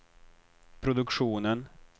produktionen